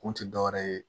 Kun ti dɔwɛrɛ ye